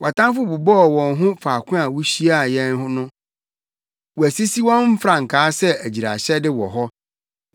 Wʼatamfo bobɔɔ mu wɔ faako a wuhyiaa yɛn no; wɔasisi wɔn mfrankaa sɛ agyiraehyɛde wɔ hɔ.